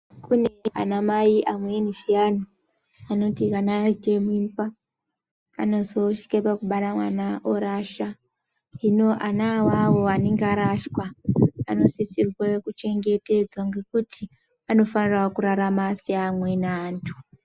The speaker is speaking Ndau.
Kune anamai amqeni zviyani , anoti kana ayite mimba anozvosvike oakubara mwana orasha. Hino ana awo anenga arashwa anosisirwe kuchengetedzwa ngekuti anofanira kurarama se amweni antu.